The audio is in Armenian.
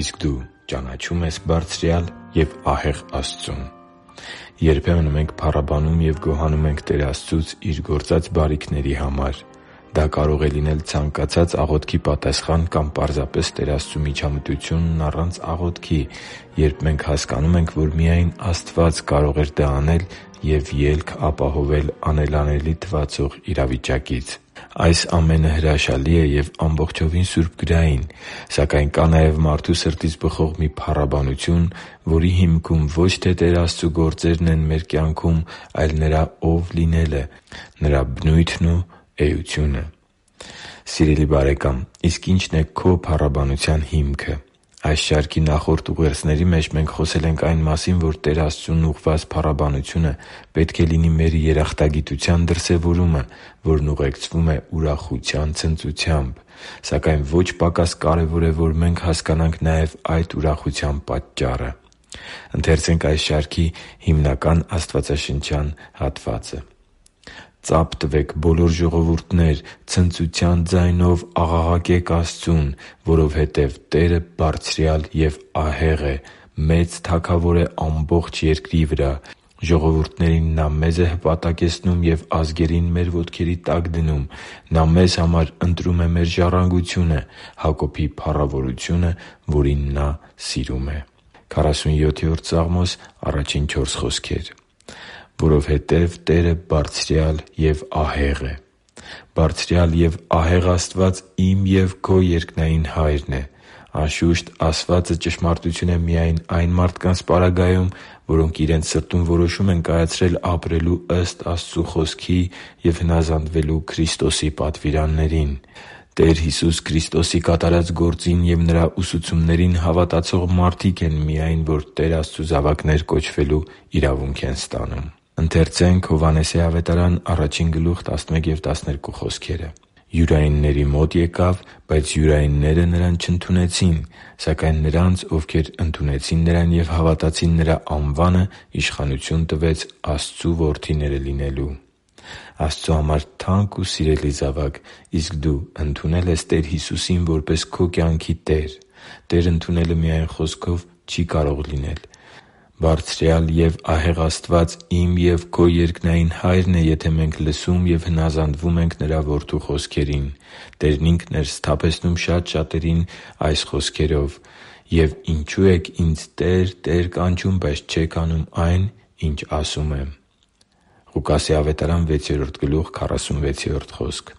Իսկ դու ճանաչո՞ւմ ես Բարձրյալ և ահեղ Աստծուն․․․ Երբեմն մենք փառաբանում և գոհանում ենք Տեր Աստծուց Իր գործած բարիքների համար։ Դա կարող է լինել ցանկացած աղոթքի պատասխան կամ պարզապես Տեր Աստծու միջամտությունն առանց աղոթքի, երբ մենք հասկանում ենք, որ միայն Աստված կարող էր դա անել և ելք ապահովել անելանելի թվացող իրավիճակից։ Այս ամենը հրաշալի է և ամբողջովին սուրբգրային։ Սակայն կա նաև մարդու սրտից բխող մի փառաբանություն, որի հիմքում ո՛չ թե Տեր Աստծու գործերն են մեր կյանքում, այլ Նրա Ո՛վ լինելը՝ Նրա բնույթն ու էությունը։ Սիրելի՛ բարեկամ, իսկ ի՞նչն է քո՛ փառաբանության հիմքը։ Այս շարքի նախորդ ուղերձների մեջ մենք խոսել ենք այն մասին, որ Տեր Աստծուն ուղղված փառաբանությունը պետք է լինի մեր երախտագիտության դրսևորումը, որն ուղեկցվում է ուրախության ցնծությամբ։ Սակայն ոչ պակաս կարևոր է, որ մենք հասկանանք նաև այդ ուրախության պատճառը։ «Ծա՛փ տվեք, բոլո՛ր ժողովուրդներ, ցնծության ձայնով աղաղակե՛ք Աստծուն, որովհետև Տերը Բարձրյալ և ահեղ է. մեծ Թագավոր է ամբողջ երկրի վրա։ Ժողովուրդներին Նա մեզ է հպատակեցնում և ազգերին մեր ոտքերի տակ դնում։ Նա մեզ համար ընտրում է մեր ժառանգությունը՝ Հակոբի փառավորությունը, որին Նա սիրում է» (Սաղմոս 47․1-4)։ «Որովհետև Տերը Բարձրյալ և ահեղ է․․.»։ Բարձրյալ և ահեղ Աստված իմ և քո երկնային Հայրն է․․․ Անշուշտ, ասվածը ճշմարտություն է միայն այն մարդկանց պարագայում, որոնք իրենց սրտում որոշում են կայացրել ապրելու ըստ Աստծու Խոսքի և հնազանդվելու Քրիստոսի պատվիրաններին։ Տեր Հիսուս Քրիստոսի կատարած գործին և Նրա ուսուցումներին հավատացող մարդիկ են միայն, որ Տեր Աստծու զավակներ կոչվելու իրավունք են ստանում։ «Յուրայինների մոտ եկավ, բայց յուրայինները Նրան չընդունեցին։ Սակայն նրանց, ովքեր ընդունեցին Նրան և հավատացին Նրա անվանը, իշխանություն տվեց Աստծու որդիները լինելու» (Հովհաննես 1.11-12): Աստծու համար թանկ ու սիրելի՛ զավակ, իսկ դու ընդունե՞լ ես Տեր Հիսուսին՝ որպես քո կյանքի Տեր։ Տեր ընդունելը միայն խոսքով չի կարող լինել։ Բարձրյալ և ահեղ Աստված իմ և քո երկնային Հայրն է, եթե մենք լսում և հնազանդվում ենք Նրա Որդու Խոսքերին։ Տերն Ինքն էր սթափեցնում շատ շատերին այս խոսքերով․ «Եվ ինչո՞ւ եք Ինձ "Տե՛ր, Տե՛ր" կանչում, բայց չեք անում այն, ինչ ասում եմ» (Ղուկաս 6.46):